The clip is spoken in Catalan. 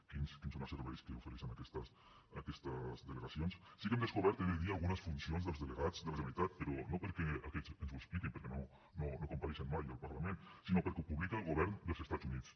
quins són els serveis que ofereixen aquestes delegacions sí que hem descobert he de dir algunes funcions dels delegats de la generalitat però no perquè aquests ens ho expliquin perquè no compareixen mai al parlament sinó perquè ho publica el govern dels estats units